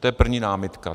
To je první námitka.